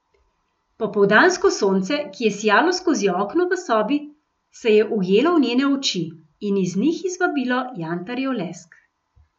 Popoldansko sonce, ki je sijalo skozi okno v sobi, se je ujelo v njene oči in iz njih izvabilo jantarjev lesk.